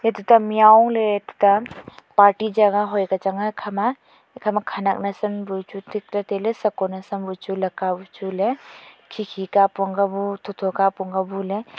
chuta miao ley tuta party jagah hoika chang a ekhama ekhama khanak nawsan bu chu thikley tetailey seko nawsam bu chu laka bu chu ley khi khi ka apong ka bu tho tho ka apong ka bu ley.